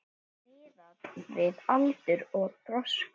Miðað við aldur og þroska.